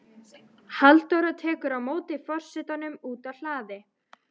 Halldóra tekur á móti forsetanum úti á hlaði.